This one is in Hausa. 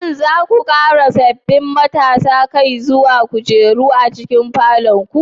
Shin za ku ƙara sabbin matasan kai zuwa kujera a cikin falon ku?